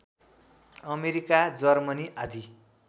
America Germany आदि